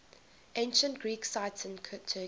ancient greek sites in turkey